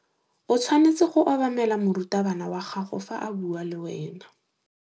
O tshwanetse go obamela morutabana wa gago fa a bua le wena.